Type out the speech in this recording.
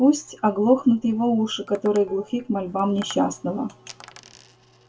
пусть оглохнут его уши которые глухи к мольбам несчастного